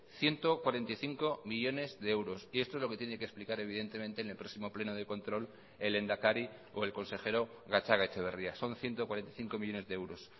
ciento cuarenta y cinco millónes de euros y esto es lo que tiene que explicar evidentemente en el próximo pleno de control el lehendakari o el consejero gatzagaetxebarria son ciento cuarenta y cinco millónes de euros